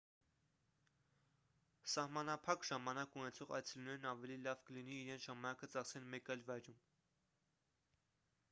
սահմանափակ ժամանակ ունեցող այցելուներն ավելի լավ կլինի իրենց ժամանակը ծախսեն մեկ այլ վայրում